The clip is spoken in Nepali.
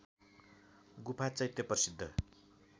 गुफा चैत्य प्रसिद्ध